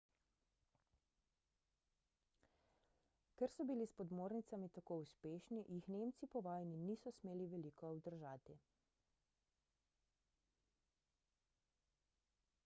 ker so bili s podmornicami tako uspešni jih nemci po vojni niso smeli veliko obdržati